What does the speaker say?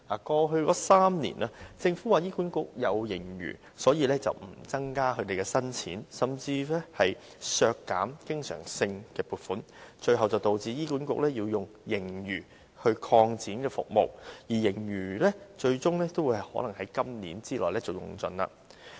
過去3年，政府指醫管局有盈餘，因而不增加撥款，甚至削減對醫管局的經常性撥款，最後導致醫管局要用盈餘來擴展服務，而盈餘最終可能會在今年之內用盡。